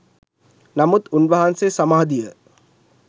නමුත් උන්වහන්සේ සමාධිය